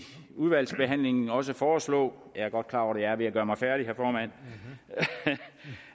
udvalgsbehandlingen også foreslå jeg er godt klar over jeg er ved at gøre mig færdig herre formand